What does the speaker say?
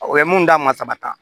O ye mun d'a ma saba ta